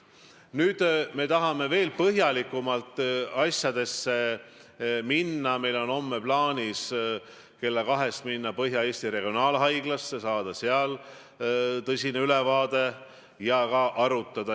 Kui selles ajaloolises listis on nii palju haiget tegevat, ignorantset ja solvavat lektüüri, siis peaks inimesel laskma veel pingil istuda, kuni me saame aru, et see lektüür on muutunud.